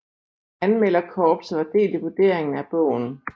Anmelderkorpset var delt i vurderingen af bogen